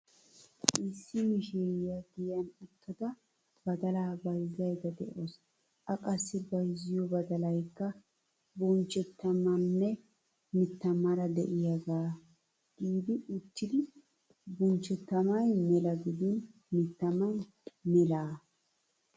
Issi Mishshiriyaa giyan uttada badalaa bayzzaydda de'awusu.A qassi bayzziyoo badalaykka bunchchetaamaanne mittaamaara de'iyaagaa gidi uttidi bunchchetaamay mela gidin mittaamay melaa.